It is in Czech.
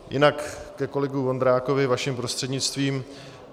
Jinak ke kolegovi Vondrákovi vaším prostřednictvím.